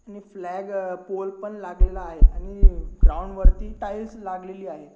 Flag pole पण लागलेला आहे आणि ग्राउंड वरती टाइल्स लागलेली आहे.